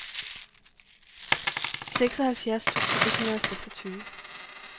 seksoghalvfjerds tusind et hundrede og seksogtyve